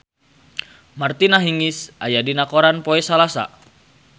Martina Hingis aya dina koran poe Salasa